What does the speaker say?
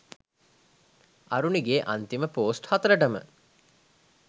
අරුණිගෙ අන්තිම පෝස්ට් හතරටම